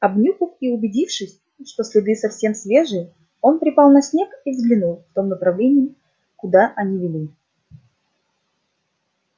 обнюхав и убедившись что следы совсем свежие он припал на снег и взглянул в том направлении куда они вели